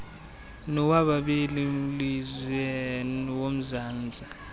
nowabameli lizwe womzantsi